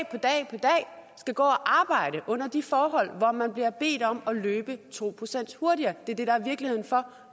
skal gå og arbejde under de forhold hvor man bliver bedt om at løbe to procent hurtigere det er det der er virkeligheden for